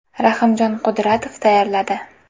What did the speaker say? Rahimjon Qudratov tayyorladi.